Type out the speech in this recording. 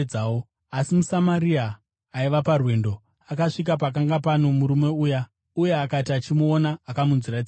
Asi muSamaria, aiva parwendo, akasvika pakanga pano murume uya; uye akati achimuona, akamunzwira tsitsi.